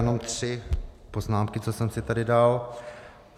Jenom tři poznámky, co jsem si tady dal.